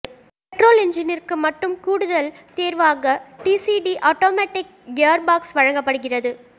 petrol என்ஜினிற்கு மட்டும் கூடுதல் தேர்வாக டிசிடி ஆட்டோமேட்டிக் கியர்பாக்ஸ் வழங்கப்படுகிறது